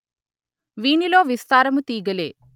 వీనిలో విస్తారము తీగలే